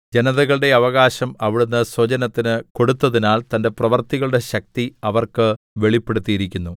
ജനതകളുടെ അവകാശം അവിടുന്ന് സ്വജനത്തിന് കൊടുത്തതിനാൽ തന്റെ പ്രവൃത്തികളുടെ ശക്തി അവർക്ക് വെളിപ്പെടുത്തിയിരിക്കുന്നു